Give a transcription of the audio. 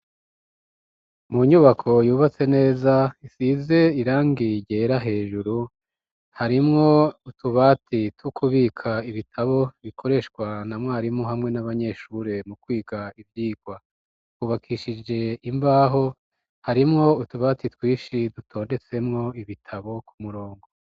Mu nyubako yubatse neza isize irangi ryera hejuru harimwo utubati tukubika ibitabo bikoreshwa na mwarimu hamwe n'abanyeshuri mu kwiga ivyirwa kubakishije imbaho harimwo utubati twishi dutondetsemwo ibitabo ku murongo.